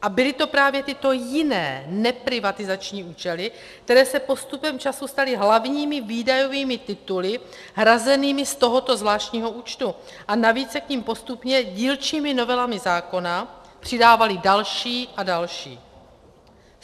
A byly to právě tyto jiné neprivatizační účely, které se postupem času staly hlavními výdajovými tituly hrazenými z tohoto zvláštního účtu, a navíc se k nim postupně dílčími novelami zákona přidávaly další a další.